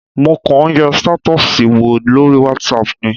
Mo kọ̀ ń yẹ stétọ́ọ̀sì wò lórí whatsapp ni.